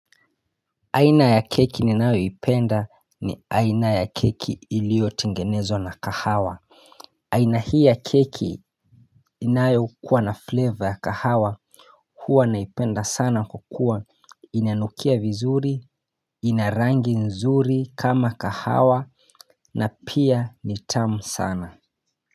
Aina ya keki ninayo ipenda ni aina ya keki iliyo tengenezwa na kahawa aina hii ya keki inayo kuwa na flavor ya kahawa huwa naipenda sana kwakua inanukia vizuri ina rangi nzuri kama kahawa na pia ni tamu sana.